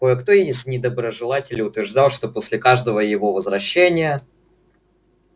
кое-кто из недоброжелателей утверждал что после каждого его возвращения